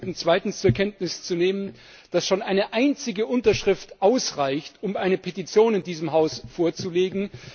Und darf ich Sie bitten, zweitens zur Kenntnis zu nehmen, dass schon eine einzige Unterschrift ausreicht, um eine Petition in diesem Haus vorzulegen?